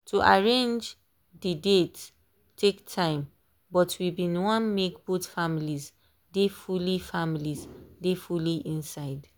to arrange dey date take time but we been want make both families dey fully families dey fully inside.